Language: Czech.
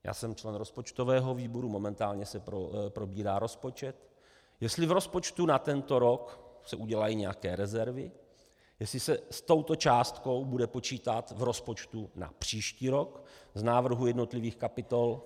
Já jsem člen rozpočtového výboru, momentálně se probírá rozpočet, jestli v rozpočtu na tento rok se udělají nějaké rezervy, jestli se s touto částkou bude počítat v rozpočtu na příští rok v návrhu jednotlivých kapitol.